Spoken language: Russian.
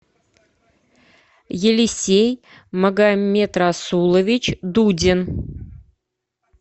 елисей магомедрасулович дудин